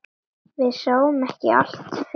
Við sjáum ekki allt fyrir.